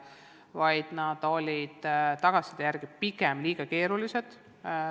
Tagasiside kohaselt olid testülesanded pigem liiga keerulised.